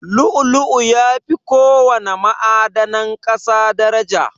Lu'u-lu'u yafi ko wana ma'adanan ƙasa daraja.